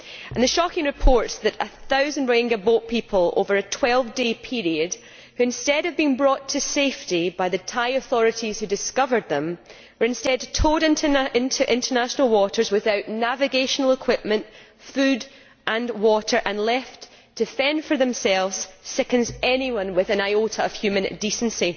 The shocking reports that a thousand Rohingya boat people over a 12 day period, who, instead of being brought to safety by the Thai authorities who discovered them, were instead towed into international waters without navigational equipment, food and water and left to fend for themselves, sickens anyone with an iota of human decency.